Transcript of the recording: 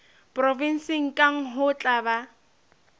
provenseng kang ho tla ba